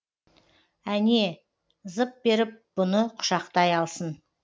әне зып беріп бұны құшақтай алсын